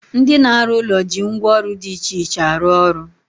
Ndị na-arụ ụlọ ji ngwa ọrụ dị iche iche arụ ọrụ.